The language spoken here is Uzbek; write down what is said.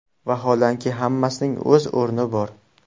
Vaholanki, hammasining o‘z o‘rni bor.